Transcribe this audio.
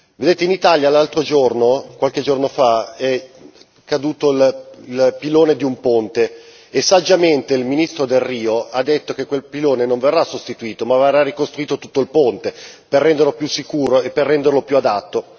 Vedete in Italia, qualche giorno fa, è caduto il pilone di un ponte e saggiamente il ministro Delrio ha detto che quel pilone non verrà sostituito ma verrà ricostruito tutto il ponte, per renderlo più sicuro e per renderlo più adatto.